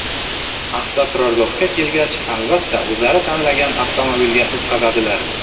Avtoturargohga kelgach, albatta, o‘zlari tanlagan avtomobilga o‘tqizadilar.